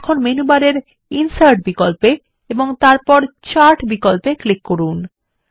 এখন মেনুবারে ইনসার্ট বিকল্পে ক্লিক করুন এবং তারপর চার্ট বিকল্পে ক্লিক করুন